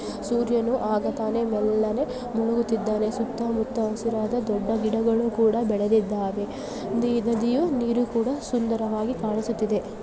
ಸೂರ್ಯನು ಆಗ ತಾನೆ ಮೆಲ್ಲನೆ ಮುಳುಗುತ್ತಿದ್ದಾನೆ ಸುತ್ತ ಮುತ್ತ ಹಸುರಾದ ದೊಡ್ಡ ಗಿಡಗಳು ಕೂಡ ಬೆಳೆದಿದ್ದಾವೆ ಈ ನದಿಯು ನೀರು ಕೂಡ ಸುಂದರವಾಗಿ ಕಾಣಿಸುತ್ತಿದೆ .